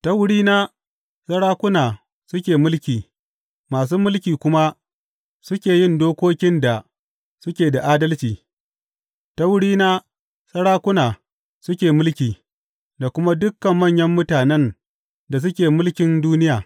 Ta wurina sarakuna suke mulki masu mulki kuma suke yin dokokin da suke da adalci; ta wurina sarakuna suke mulki, da kuma dukan manyan mutanen da suke mulkin duniya.